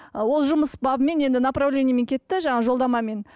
ол жұмыс бабымен енді направлениемен кетті жаңағы жолдамамен